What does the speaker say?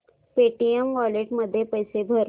Paytm wallet मध्ये पैसे भर